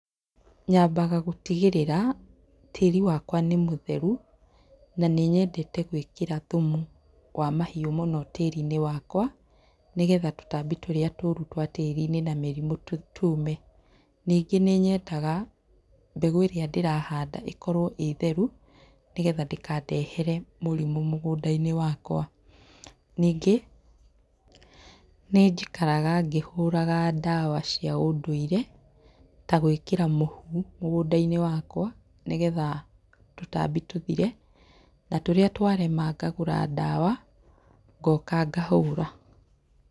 Nyambaga gũtigĩrĩra tĩri wakwa nĩ mũtherũ na nĩnyendete gwĩkĩra thumu wa mahiũ mũno tĩri-inĩ wakwa nĩgetha tũtambi tũrĩa tũru twa tĩri-inĩ na mĩrimũ tume. Ningĩ nĩnyendaga mbegũ ĩrĩa ndĩrahanda ĩkorwo ĩrĩ theru nĩgetha ndĩkandehere mũrimũ mũgũndainĩ wakwa. Ningĩ nĩnjikaraga ngĩhũraga ndawa cia ũndũire ta gwĩkĩra mũhu mũgũndainĩ wakwa nĩgetha tũtambi tũthire na tũrĩa twarema ngagũra ndawa ngoka ngahũra.